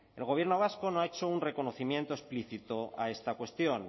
el gobierno vasco no ha hecho un reconocimiento explícito a esta cuestión